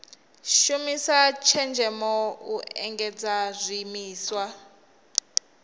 shumisa tshenzhemo u endedza zwiimiswa